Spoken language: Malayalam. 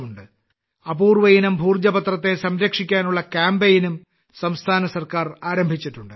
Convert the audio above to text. അപൂർവയിനം ഭോജ പത്രത്തെ സംരക്ഷിക്കാനുള്ള കാമ്പയിനും സംസ്ഥാന സർക്കാർ ആരംഭിച്ചിട്ടുണ്ട്